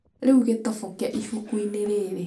Rĩu gĩtoboke ibuku-inĩ rĩrĩ